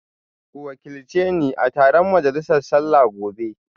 Ku wakilci ni a taron majalisa sallah gobe